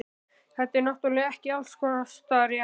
Þetta er náttúrlega ekki allskostar rétt.